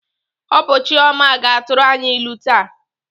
Ọ bụ Chioma ga-atụrụ anyị ilu taa.